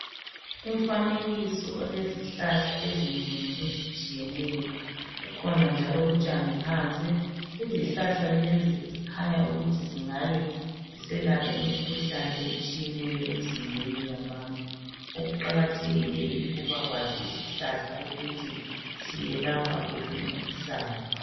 Umfanekiso olezihlahla ezinengi ezitshiyeneyo. Kukhona njalo utshani phansi. Izihlahla lezi zikhanya ukuthi zingabe ziselapha imikhuhlane etshiyeneyo emizimbeni yabantu. Okuqakathekileyo, yikuba kwazi isihlahla ukuthi siyelapha wuphi umkhuhlane.